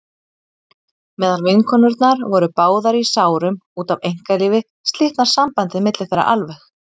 Meðan vinkonurnar voru báðar í sárum út af einkalífi slitnar sambandið milli þeirra alveg.